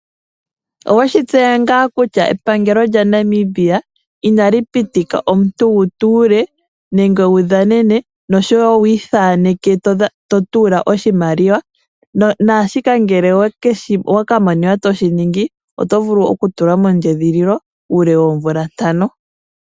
Oweshi tseya ngaa kutya epalngelo lya Namibia inali pitika omuntu wu tuule nenge wu dhanene noshowo wu ithaneke to tuula oshimaliwa? Naashika ngele owa ka monika to shi ningi, oto vulu oku ka tulwa mondjedhililo uule woomvula ntano.